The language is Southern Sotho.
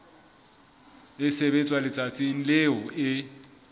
e sebetswa letsatsing leo e